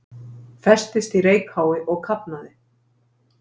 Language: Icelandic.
Festist í reykháfi og kafnaði